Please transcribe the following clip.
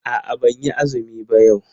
A'a ban yi azumi ba yau.